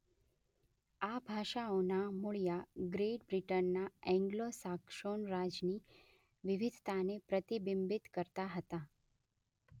આ ભાષાઓનાં મૂળિયાં ગ્રેટ બ્રિટનના એન્ગ્લો સાક્સોન રાજની વિવિધતાને પ્રતિબિંબિત કરતાં હતાં.